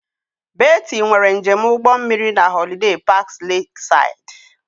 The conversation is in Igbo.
Betty nwere njem ụgbọ mmiri na Holiday Parks Lakeside